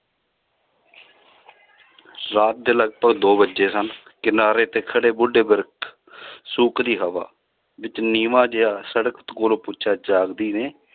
ਰਾਤ ਦੇ ਲਗਪਗ ਦੋ ਵੱਜੇ ਸਨ ਕਿਨਾਰੇ ਤੇ ਖੜੇ ਬੁੱਢੇ ਬਿਰਖ ਸੂਕਦੀ ਹਵਾ, ਵਿੱਚ ਨੀਵਾਂ ਜਿਹਾ ਸੜਕ ਕੋਲੋਂ ਪੁੱਛਿਆ ਜਾਗਦੀ ਨੇ